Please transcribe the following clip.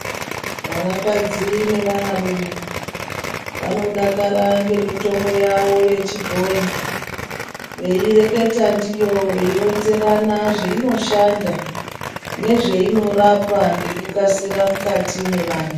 Vanakadzi nevana rume vanodakara ngemitombo yawo yechibhoyi. Veireketa ndiyo, veironzerana zvainoshanda nezveinorapa ngekukasira mukati nevanhu.